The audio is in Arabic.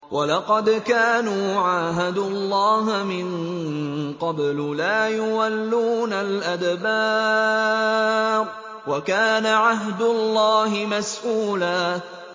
وَلَقَدْ كَانُوا عَاهَدُوا اللَّهَ مِن قَبْلُ لَا يُوَلُّونَ الْأَدْبَارَ ۚ وَكَانَ عَهْدُ اللَّهِ مَسْئُولًا